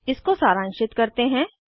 इसको सारांशित करते हैं